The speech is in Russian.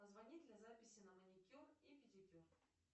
позвони для записи на маникюр и педикюр